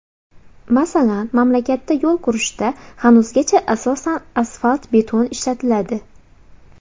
Masalan, mamlakatda yo‘l qurishda hanuzgacha asosan asfalt-beton ishlatiladi.